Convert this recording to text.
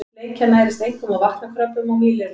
Bleikjan nærist einkum á vatnakröbbum og mýlirfum.